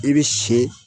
I bɛ si